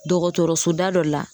Dɔgɔtɔrɔso da dɔ la